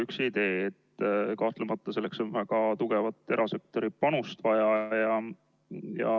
Üks idee on, et kahtlemata on vaja ka tugevat erasektori panust.